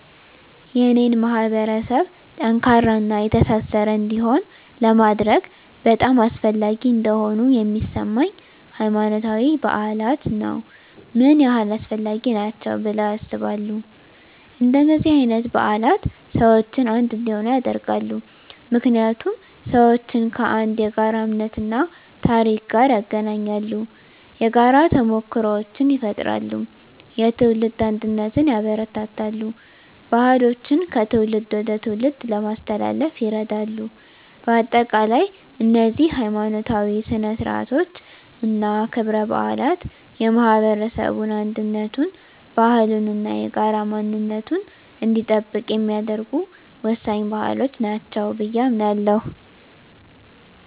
የኔን ማህበረሰብ ጠንካራና የተሳሰረ እንዲሆን ለማድረግ በጣም አስፈላጊ እንደሆኑ የሚሰማኝ፦ ** ሃይማኖታዊ በዓላት ነው **ምን ያህል አስፈላጊ ናቸው ብለው ያስባሉ? እንደነዚህ አይነት በዓላት ሰዎችን አንድ እንዲሆኑ ያደርጋሉ። ምክንያቱም ሰዎችን ከአንድ የጋራ እምነት እና ታሪክ ጋር ያገናኛሉ። የጋራ ተሞክሮዎችን ይፈጥራሉ፣ የትውልድ አንድነትን ያበረታታሉ፣ ባህሎችን ከትውልድ ወደ ትውልድ ለማስተላለፍ ይረዳሉ። በአጠቃላይ፣ እነዚህ ሀይማኖታዊ ሥነ ሥርዓቶች እና ክብረ በዓላት የማህበረሰቡን አንድነቱን፣ ባህሉን እና የጋራ ማንነቱን እንዲጠብቅ የሚያደርጉ ወሳኝ ባህሎች ናቸው ብየ አምናለሁ።